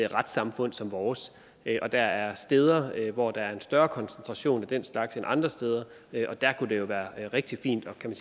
retssamfund som vores og der er steder hvor der er en større koncentration af den slags end andre steder og der kunne det jo være rigtig fint at kan